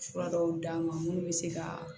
Fura dɔw d'a ma munnu bɛ se ka